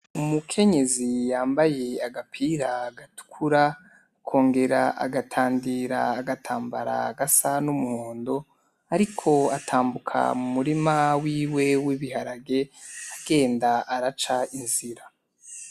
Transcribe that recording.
Umukenyezi yambaye agapira, gatukura akongera agatandira agatambara gasa n'umuhondo, ariko atambuka mumurima wiwe w'ibiharage agenda araca inzira